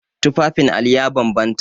Tufafin Ali ya bambanta.